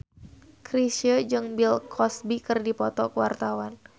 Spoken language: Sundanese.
Chrisye jeung Bill Cosby keur dipoto ku wartawan